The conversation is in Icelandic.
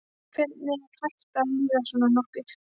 Hvernig er hægt að líða svona nokkuð?